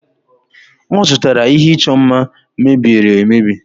ọ zụtara ihe ịchọ mma mebieri emebi